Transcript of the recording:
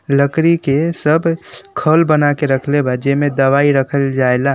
लकड़ी के सब खल बना के रखले बा जिमें दवाई रखल जाइला।